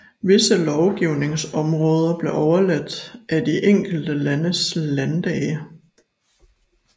Visse lovgivningsområder blev overladt de enkelte landes landdage